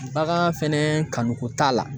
Bagan fɛnɛ kanu ko t'a la.